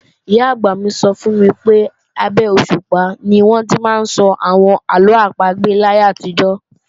Ìyá-àgbà mi sọ fún mi pé, abé òṣùpá ni wọ́n ti máa ń sọ àwọn àlọ́ àpagbè láyé àtijọ́